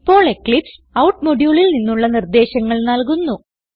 ഇപ്പോൾ Eclipse out moduleൽ നിന്നുള്ള നിർദേശങ്ങൾ നൽകുന്നു